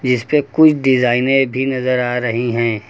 जिस पे कुछ डिजाइने भी नजर आ रही है।